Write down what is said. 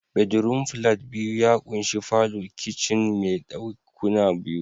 Bedroom flat biyu ya ƙunshi falo, kicin mai ɗakuna biyu